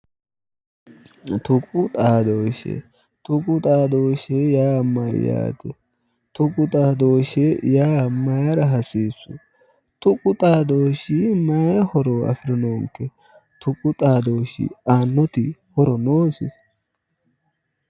Tuqu xadooshshe tuqu xadooshshe yaa mayyaate? Tuqu xadooshahe yaa mayeera hasiissu? Tuqu xadooshshi mayii horo aanno? Tuqu xadooshshi aannoti horo noosi